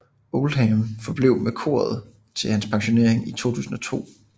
Oldham forblev med koret til hans pensionering i 2002